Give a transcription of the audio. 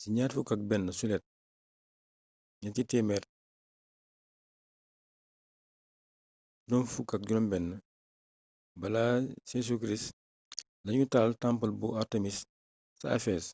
ci 21 juillet 356 av jc lañu taal temple bu artémis ca ephèse